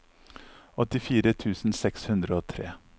åttifire tusen seks hundre og tre